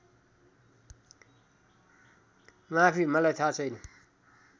माफी मलाई थाहा छैन